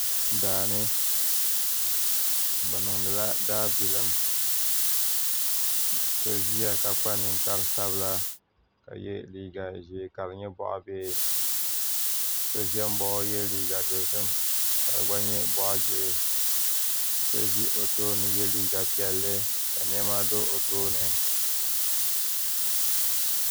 Daani bi niŋdila daa bilim so ziya ka kpa ninkpara sabila ka ye liiga zɛɛ ka di nyɛ bɔɣi bihi so zɛ nbaɣi o ye liiga dozim ka di gba nyɛ bɔɣi gihi so zi o tooni ye liiga piɛlli ka nɛma do o tooni.